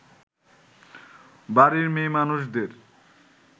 বাড়ির মেয়েমানুষদের